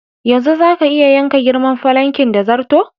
Yanzu zaka iya yanka girman falankin da zarto.